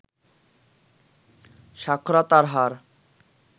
সাক্ষরতার হার